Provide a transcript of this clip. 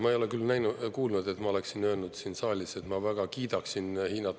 Ma ei ole küll kuulnud, et ma oleksin öelnud siin saalis, et ma väga kiidaksin Hiinat.